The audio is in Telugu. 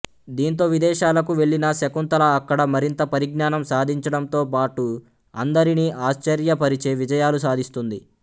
దీంతో విదేశాలకు వెళ్లిన శకుంతల అక్కడ మరింత పరిజ్ఞానం సాధించడంతో పాటు అందరినీ ఆశ్చర్యపరిచే విజయాలు సాధిస్తుంది